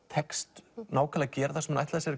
tekst nákvæmlega að gera það sem hún ætlaði sér